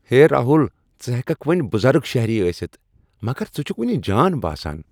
ہے راہُل، ژٕ ہیككھ وۄنۍ بُزرگ شہری ٲسِتھ ، مگر ژٕ چُھكھ وُنہِ جان باسان ۔